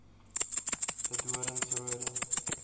de doorns roode